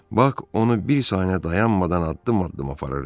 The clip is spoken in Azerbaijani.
Bak onu bir saniyə dayanmadan addım-addım aparırdı.